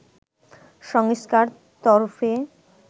সংস্থার তরফে